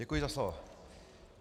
Děkuji za slovo.